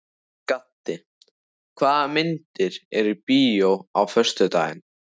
Gaddi, hvaða myndir eru í bíó á föstudaginn?